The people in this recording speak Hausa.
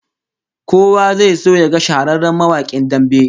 Kowa zai so yaga shahararren mawakin damben